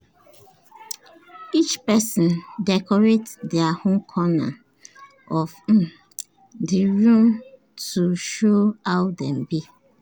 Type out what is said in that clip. each person decorate dia own corner of um the room to show how dem be